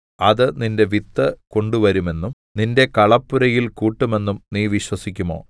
അത് നിന്റെ വിത്ത് കൊണ്ടുവരുമെന്നും നിന്റെ കളപ്പുരയിൽ കൂട്ടുമെന്നും നീ വിശ്വസിക്കുമോ